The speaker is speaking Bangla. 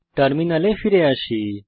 টার্মিনালে ফিরে আসি